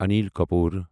Anil Kapoor